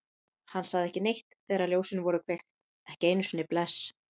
Hann sagði ekki neitt þegar ljósin voru kveikt, ekki einu sinni bless.